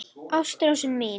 Ástrós mín.